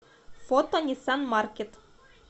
фото ниссан маркет